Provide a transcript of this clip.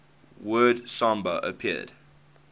word samba appeared